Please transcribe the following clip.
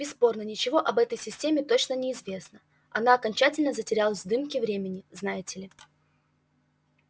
бесспорно ничего об этой системе точно не известно она окончательно затерялась в дымке времени знаете ли